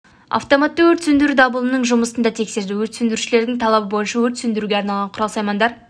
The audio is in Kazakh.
автоматты өрт сөндіру дабылының жұмысын да тексерді өрт сөндірушілердің талабы бойынша өрт сөндіруге арналған құрал-саймандар